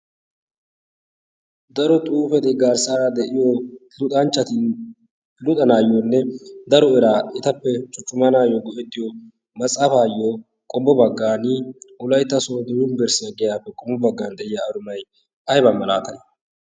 daro xuufeti garssaara de'iyo luxanchchati luxanaayyoonne daro eraa etappe cuccumanaayyo go'ettiyo matsaafaayyo qommo baggan wolaytta sonddo yumberssiya giyaappe qommo baggan de'iya arumay aybaa malaatay